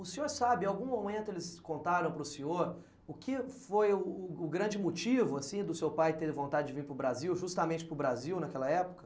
O senhor sabe, em algum momento eles contaram para o senhor o que foi o grande motivo, assim, do seu pai ter vontade de vir para o Brasil, justamente para o Brasil naquela época?